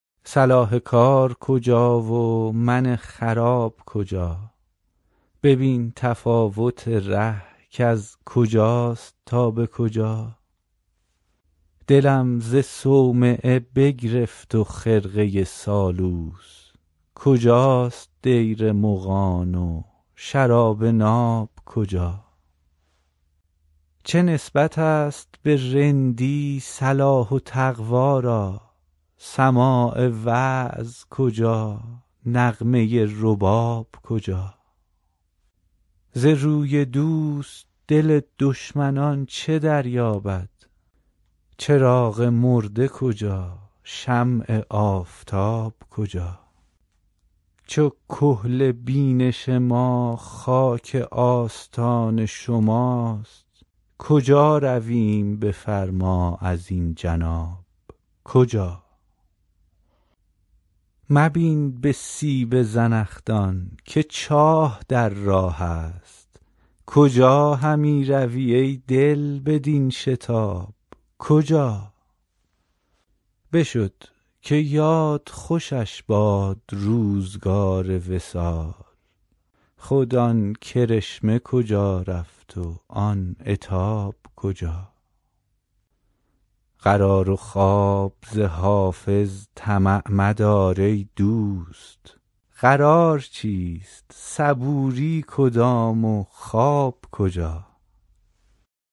صلاح کار کجا و من خراب کجا ببین تفاوت ره کز کجاست تا به کجا دلم ز صومعه بگرفت و خرقه سالوس کجاست دیر مغان و شراب ناب کجا چه نسبت است به رندی صلاح و تقوا را سماع وعظ کجا نغمه رباب کجا ز روی دوست دل دشمنان چه دریابد چراغ مرده کجا شمع آفتاب کجا چو کحل بینش ما خاک آستان شماست کجا رویم بفرما ازین جناب کجا مبین به سیب زنخدان که چاه در راه است کجا همی روی ای دل بدین شتاب کجا بشد که یاد خوشش باد روزگار وصال خود آن کرشمه کجا رفت و آن عتاب کجا قرار و خواب ز حافظ طمع مدار ای دوست قرار چیست صبوری کدام و خواب کجا